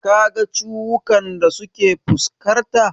Ka ga ciwukan da suke fuskarta?